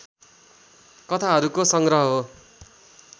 कथाहरूको संग्रह हो